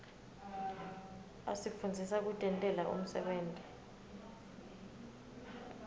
asifundzisa kutentela umsebenti